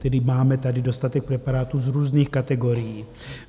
Tedy máme tady dostatek preparátů z různých kategorií.